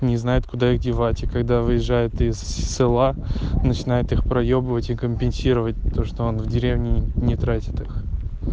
не знает куда их девать и когда выезжает из села начинает их проебывать и компенсировать то что он в деревне не тратит их